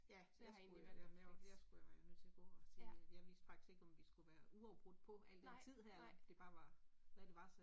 Ja, jeg skulle jo ja jeg skulle jo være nødt til og gå og sige, jeg vidste faktisk ikke, om vi skulle være uafbrudt på al den tid her eller om det bare var, når det var